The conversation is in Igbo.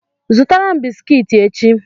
Zụtara m bisikiti echi!